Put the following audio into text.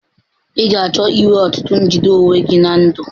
Ị ga-achọ inwe ọtụtụ njide onwe gị na ndụ.